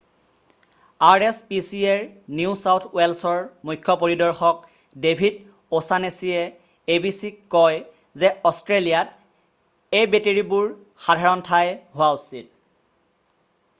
rspcaৰ new south ৱেলছৰ মুখ্য পৰিদৰ্শক ডেভিদ অ'ছানেছীয়ে abcক কয় যে অষ্ট্ৰেলিয়াত এবেটৰিবোৰ সাধাৰণ ঠাই হোৱা উচিত।